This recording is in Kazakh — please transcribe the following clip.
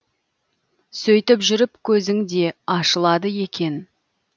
сөйтіп жүріп көзің де ашылады екен